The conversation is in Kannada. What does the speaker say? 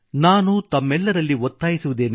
ನಾನು ತಮ್ಮೆಲ್ಲರಲ್ಲಿ ಒತ್ತಾಯಿಸುತ್ತೇನೆ